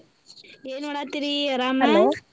ಏನ್ ಮಾಡಾತ್ತಿರೀ ಅರಾಮಾ? .